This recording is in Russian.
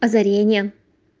озарение